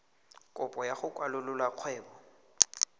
kopo ya go kwalolola kgwebo